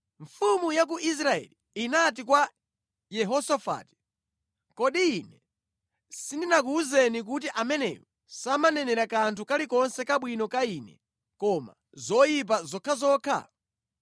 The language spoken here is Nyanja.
Mfumu ya ku Israeli inati kwa Yehosafati, “Kodi ine sindinakuwuzeni kuti ameneyu samanenera kanthu kalikonse kabwino ka ine, koma zoyipa zokhazokha?”